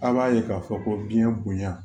A b'a ye k'a fɔ ko biɲɛ bonya